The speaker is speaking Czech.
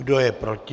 Kdo je proti?